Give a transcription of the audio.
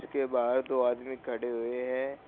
के बाहर दो आदमी खड़े हुए हैं।